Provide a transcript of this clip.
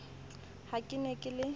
ha ke ne ke le